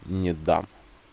не дам